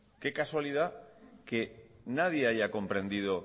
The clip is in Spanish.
qué casualidad que nadie haya comprendido